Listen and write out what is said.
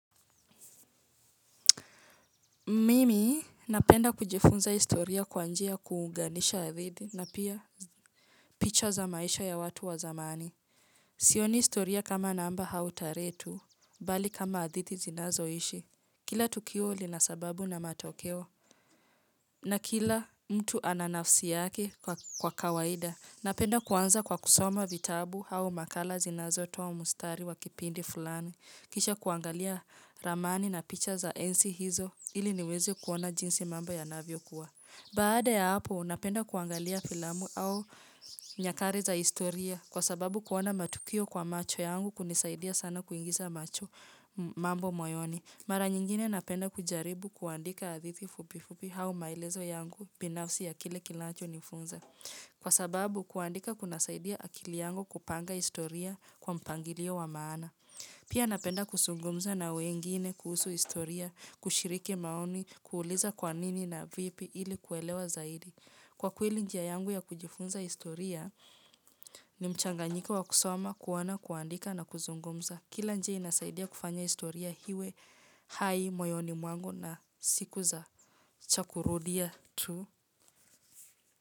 Mimi napenda kujifunza historia kwa njia kuunganisha hadithi na pia picha za maisha ya watu wa zamani. Sioni historia kama namba au tarehe tu, bali kama adithidi zinazo ishi. Kila tukio lina sababu na matokeo. Na kila mtu ana nafsi yake kwa kawaida. Napenda kuanza kwa kusoma vitabu au makala zinazo toa mstari wa kipindi fulani. Kisha kuangalia ramani na picha za enzi hizo ili niweze kuona jinsi mambo yanavyo kuwa. Baada ya hapo, unapenda kuangalia filamu au nyakati za historia kwa sababu kuona matukio kwa macho yangu kunisaidia sana kuingiza macho mambo moyoni. Mara nyingine napenda kujaribu kuandika adithiti fubi fupi au maelezo yangu binafsi ya kile kinacho nifunza. Kwa sababu kuandika kuna saidia akili yangu kupanga historia kwa mpangilio wa maana. Pia napenda kuzungumza na wengine kuhusu historia, kushiriki maoni, kuuliza kwanini na vipi ili kuelewa zaidi. Kwa kweli njia yangu ya kujifunza historia ni mchanganyiko wa kusoma, kuona, kuandika na kuzungumza. Kila njia inasaidia kufanya historia iwe, hai, moyoni mwangu na siku za cha kurudia tu.